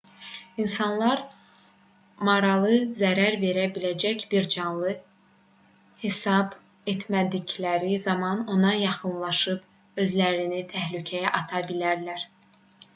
i̇nsanlar maralı zərər verə biləcək bir canlı hesab etmədikləri zaman ona yaxınlaşıb özlərini təhlükəyə ata bilərlər